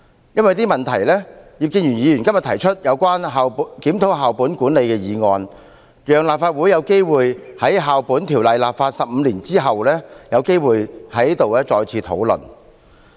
因為這些問題，葉建源議員今天提出有關"檢討校本管理的推行"議案，讓立法會有機會在《2004年教育條例》制定15年後有機會在這裏再次討論。